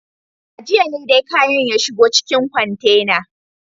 A jiya ne dai kayan ya shigo cikin kwantena.